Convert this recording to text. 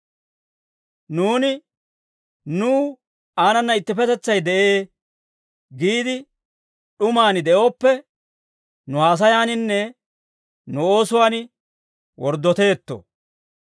Nuuni nuw aanana ittippetetsay de'ee giide d'umaan de'ooppe, nu haasayaaninne nu oosuwaan worddoteetto.